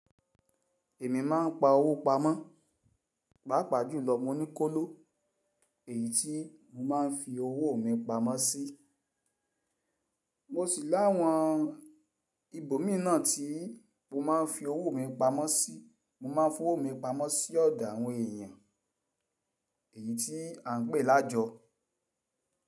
Èmi máà ń pa owó pamọ́, pàápàá jùlọ mo ní kóló èyí tí mo máa ń fi owó mi pamọ́ sí. Mo sì láwọn ibòmí ná tí mo máa ń fi owó mi pamọ́ sí. Mo máà ń fi owó mi pamọ́ sí ọ̀dọ̀ àwọn èèyàn èyí tí à ń pè lájọ.